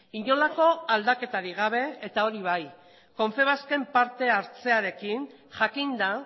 inolako aldaketarik gabe eta hori bai confebasken parte hartzearekin jakinda